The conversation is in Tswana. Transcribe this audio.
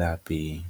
lapeng.